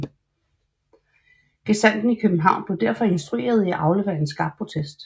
Gesandten i København blev derfor instrueret i at aflevere en skarp protest